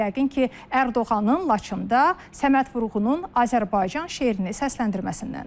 Yəqin ki, Ərdoğanın Laçında Səməd Vurğunun Azərbaycan şeirini səsləndirməsindəndir.